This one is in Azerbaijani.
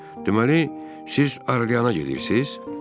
Deməli, siz Arklayna gedirsiz?